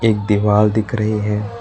एक दीवाल दिख रही है।